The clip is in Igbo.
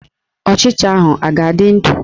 Ọchịcha ahụ a ga-adị ndụ?